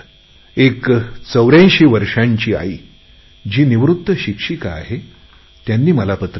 एक 84 वर्षाची आईजी निवृत्त शिक्षक आहे त्यांनी मला पत्र लिहिले